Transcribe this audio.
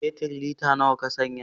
Fetir lita nawa Ka saya